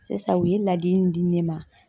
Sisan u ye ladili min di ne ma